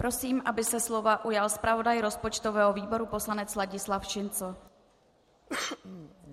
Prosím, aby se slova ujal zpravodaj rozpočtového výboru poslanec Ladislav Šincl.